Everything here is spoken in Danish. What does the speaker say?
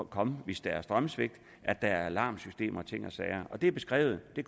komme hvis der er strømsvigt kan at der er alarmsystemer og ting og sager det er beskrevet og det